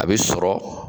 A bɛ sɔrɔ